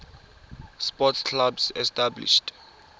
sports clubs established